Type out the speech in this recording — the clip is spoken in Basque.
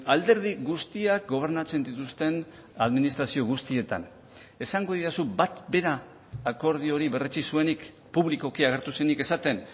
alderdi guztiak gobernatzen dituzten administrazio guztietan esango didazu bat bera akordio hori berretsi zuenik publikoki agertu zenik esaten